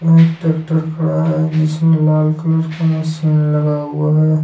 यह एक ट्रैक्टर खड़ा है जिसमें लाल कलर का मशीन लगा हुआ है।